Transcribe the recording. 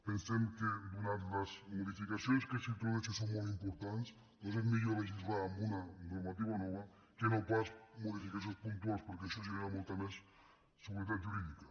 pensem que ja que les modificacions que s’introdueixen són molt importants doncs és millor legislar amb una normativa nova que no pas modificacions puntuals perquè això genera molta més seguretat jurídica